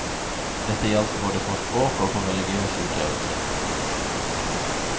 Dette gjaldt både for språk og for religiøs utøvelse.